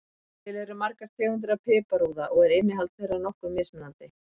Til eru margar tegundir af piparúða og er innihald þeirra nokkuð mismunandi.